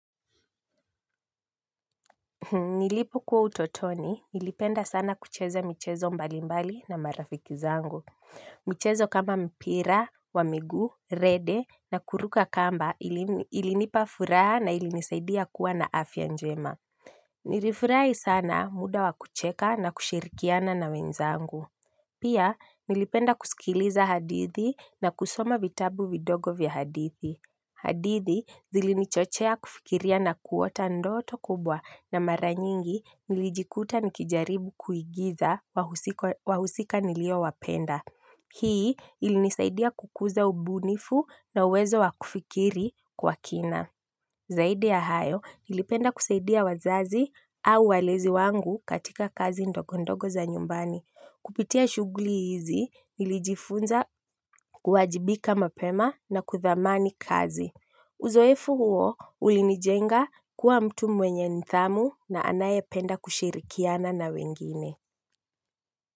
Nilipokuwa utotoni, nilipenda sana kucheza michezo mbalimbali na marafiki zangu. Michezo kama mpira wa miguu, rede na kuruka kamba ilinipa furaha na ilinisaidia kuwa na afya njema. Nilifurahi sana muda wa kucheka na kushirikiana na wenzangu. Pia, nilipenda kusikiliza hadithi na kusoma vitabu vidogo vya hadithi. Hadithi zilinichochea kufikiria na kuota ndoto kubwa na mara nyingi nilijikuta nikijaribu kuigiza wahusika niliowapenda. Hii ilinisaidia kukuza ubunifu na uwezo wakufikiri kwa kina. Zaidi ya hayo nilipenda kusaidia wazazi au walezi wangu katika kazi ndogo ndogo za nyumbani. Kupitia shughuli hizi nilijifunza kuwajibika mapema na kuthamani kazi. Uzoefu huo ulinijenga kuwa mtu mwenye nidhamu na anayependa kushirikiana na wengine.